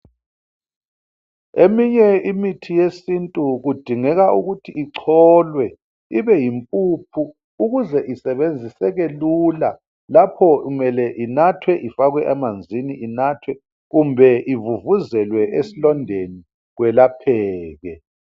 Eminye imithi yesintu kudingeka ukuthi icholwe ibe yimpuphu ukuze isebenziseke lula lapho kumele inathwe , ifakwe emanzini inathwe kumbe ivuvuzelwe esilondeni kwelapheke.